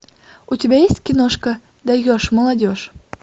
у тебя есть киношка даешь молодежь